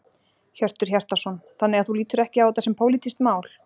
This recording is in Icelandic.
Hjörtur Hjartarson: Þannig að þú lítur ekki á þetta sem pólitískt mál?